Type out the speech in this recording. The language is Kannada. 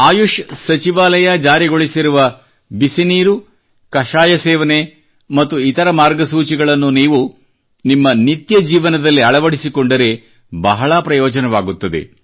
ಆಯುಷ್ ಸಚಿವಾಲಯ ಜಾರಿಗೊಳಿಸಿರುವ ಬಿಸಿನೀರು ಕಷಾಯ ಸೇವನೆ ಮತ್ತು ಇತರ ಮಾರ್ಗಸೂಚಿಗಳನ್ನು ನೀವು ನಿಮ್ಮ ನಿತ್ಯ ಜೀವನದಲ್ಲಿ ಅಳವಡಿಸಿಕೊಂಡರೆ ಬಹಳ ಪ್ರಯೋಜನವಾಗುತ್ತದೆ